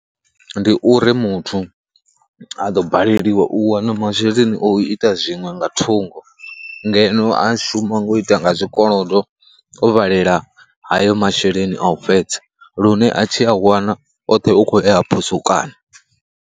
Ndi uri muthu a ḓo balelwa u wana masheleni o ita zwiṅwe nga thungo, ngeno a shuma ngo ita nga zwikolodo o vhalela hayo masheleni a u fhedza lune a tshi a wana oṱhe ukho ya a phusukanya.